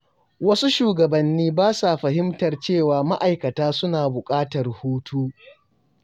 Wasu shugabanni ba sa fahimtar cewa ma’aikata suna buƙatar hutu.